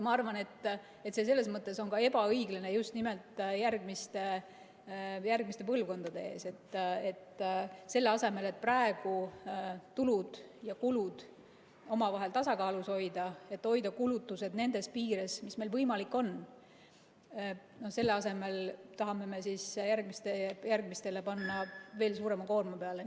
Mina arvan, et on ebaõiglane just nimelt järgmiste põlvkondade suhtes, kui selle asemel, et praegu tulud ja kulud tasakaalus hoida, hoida kulutused nendes piires, mis meil võimalik on, me tahame järgmistele põlvkondadele panna veel suurema koorma peale.